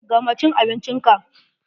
Gama cin abincin ka!